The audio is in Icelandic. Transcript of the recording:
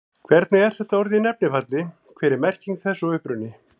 Hvernig er þetta orð í nefnifalli, hver er merking þess og uppruni?